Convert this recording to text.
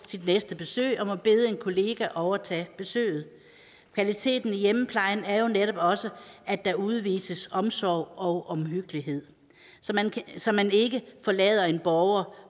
sit næste besøg og må bede en kollega overtage besøget kvaliteten i hjemmeplejen er jo netop også at der udvises omsorg og omhyggelighed så man ikke forlader en borger